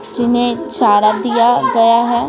जिन्हें इशारा दिया गया है।